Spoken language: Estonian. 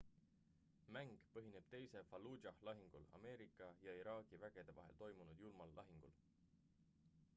mäng põhineb teisel fallujah' lahingul ameerika ja iraagi vägede vahel toimunud julmal lahingul